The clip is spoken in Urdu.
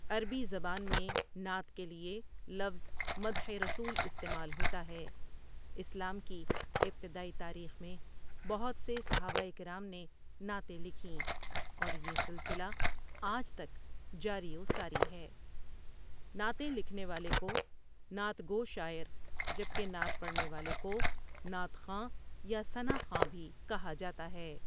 عربی زبان میں نعت کے لیے لفظ مدحِ رسول استعمال ہوتا ہے اسلام کی ابتدائی تاریخ میں بہت سے صحابہ اکرام نے نعتیں لکھیں اور یہ سلسلہ آج تک جاری و ساری ہے نعتیں لکھنے والے کو نعت گو شاعر جبکہ نعت پڑھنے والے کو نعت خواں یا ثئاء خواں بھی کہا جاتا ہے ۔